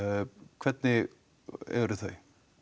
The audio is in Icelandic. hvernig eru þau